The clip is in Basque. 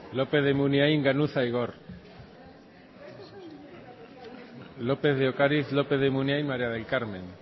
lópez de munain ganuza igor lópez de ocariz lópez de munain maría del carmen